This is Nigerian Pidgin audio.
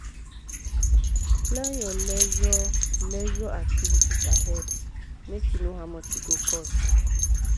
plan your leisure leisure activities ahead make you know how much e go cost.